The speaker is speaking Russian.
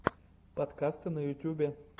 подкасты на ютюбе